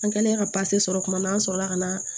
An kɛlen ka sɔrɔ tuma min na an sɔrɔ la ka na